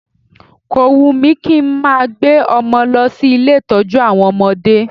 Ko wùn mí kí n máa gbé ọmọ lọ sí ilé ìtọ́jú àwọn ọmọdé